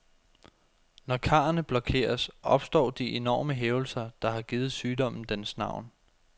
Når karrene blokeres, opstår de enorme hævelser, der har givet sygdommen dens navn.